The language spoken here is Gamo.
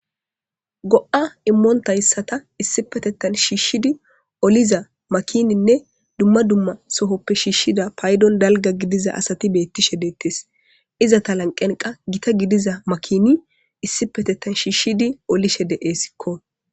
Go'a immonta yssata issipetetan shiishshidi oliza makininne dumma dumma sohoppe shiishshida paydon dalga gidiza asati beettishe deettes iza ta lanqenqa gita gidiza makini issipetetan shiishshidi olishe deeessikko.